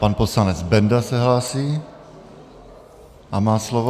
Pan poslanec Benda se hlásí a má slovo.